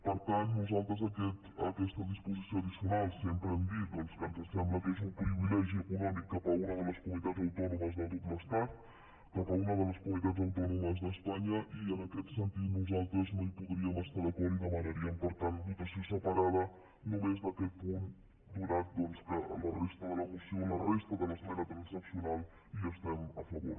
per tant nosaltres aquesta disposició addicional sempre hem dit que ens sembla que és un privilegi econòmic cap a una de les comunitats autònomes de tot l’estat cap a una de les comunitat autònomes d’espanya i en aquest sentit nosaltres no hi podríem estar d’acord i demanaríem per tant votació separada només d’aquest punt ja que amb la resta de l’esmena transaccional hi estem a favor